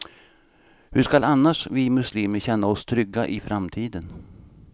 Hur skall annars vi muslimer känna oss trygga i framtiden.